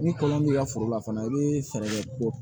Ni kɔlɔn b'i ka foro la fana i bɛ fɛɛrɛ kɛ ko